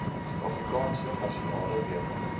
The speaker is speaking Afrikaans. suidafrikaanse nasionale weermag